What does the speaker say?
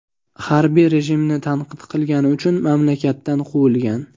Harbiy rejimni tanqid qilgani uchun mamlakatdan quvilgan.